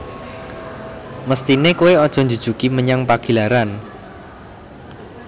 Mesthine koe ojo njujugi menyang Pagilaran